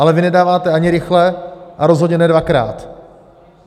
Ale vy nedáváte ani rychle, a rozhodně ne dvakrát.